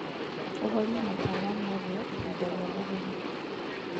ũhorĩe matawa motheĩhĩnda rĩa mũthenya